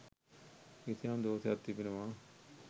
කිසියම් දෝෂයක් තිබෙනවා.